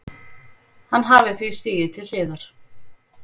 Hann hafi því stigið til hliðar